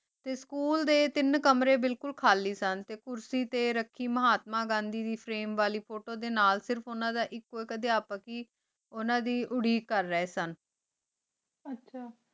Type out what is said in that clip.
T school ਡਟ ਤੀਨ ਕਮਰੀ ਬਿਲਕੁਲ ਖਾਲੀ ਸਨ ਟੀ ਚੂਸੀ ਟੀ ਰਾਖੀ ਮਹ੍ਤਮਾ ਘੰਡੀ ਦੇ photo ਡੀਨਲ ਸਿਰਫ ਉਨਾ ਦਾ ਐਕੂ ਆਇਕ ਉਨਾ ਦੇ ਉਦਕ ਕਰ ਰਹੀ ਸਨ ਆਚਾ